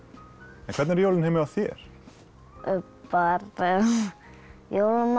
hvernig eru jólin heima hjá þér bara jólamatur